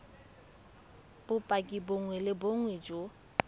bopaki bongwe le bongwe jo